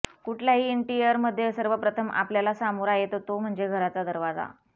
कुठल्याही इंटिरिअरमध्ये सर्वप्रथम आपल्याला सामोरा येतो तो म्हणजे घराचा दरवाजा